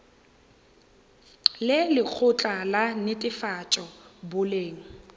le lekgotla la netefatšo boleng